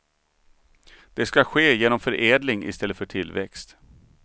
Det ska ske genom förädling i stället för tillväxt.